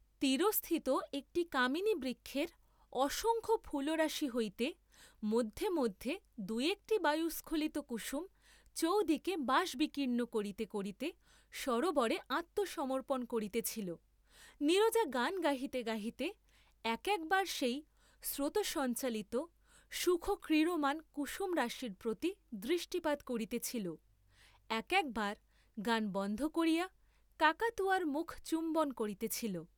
তীরস্থিত একটি কামিনী বৃক্ষের অসংখ্য ফুলরাশি হইতে মধে, মধ্যে দুই একটি বায়ুস্খলিত কুসুম চৌদিকে বাস বিকীর্ণ করিতে করিতে সরােবরে আত্ম সমর্পণ করিতেছিল, নীরজা গান গাহিতে গাহিতে এক একবার সেই স্রোতসঞ্চালিত সুখ ক্রীড়মান কুসুম রাশির প্রতি দৃষ্টিপাত করিতেছিল, এক একবার গান বন্ধ করিয়া কাকাতুয়ার মুখ চুম্বন করিতেছিল।